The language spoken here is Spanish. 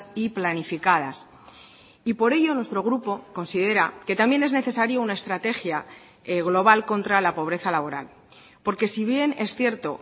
y planificadas y por ello nuestro grupo considera que también es necesaria una estrategia global contra la pobreza laboral porque si bien es cierto